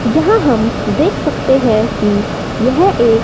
यहां हम देख सकते हैं कि यह एक--